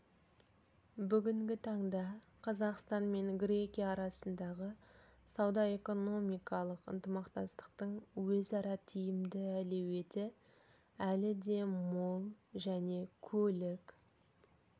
бүгінгі таңда қазақстан мен грекия арасындағы сауда-экономикалық ынтымақтастықтың өзара тиімді әлеуеті әлі де мол және көлік